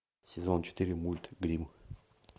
сезон четыре мульт гримм